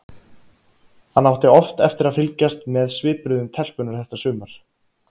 Hann átti oft eftir að fylgjast með svipbrigðum telpunnar þetta sumar.